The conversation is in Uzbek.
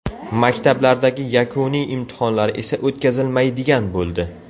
Maktablardagi yakuniy imtihonlar esa o‘tkazilmaydigan bo‘ldi .